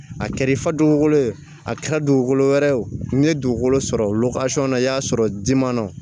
A kɛra i fa dugukolo ye a kɛra dugukolo wɛrɛ ye o ye dugukolo sɔrɔ na i y'a sɔrɔ dimandɔ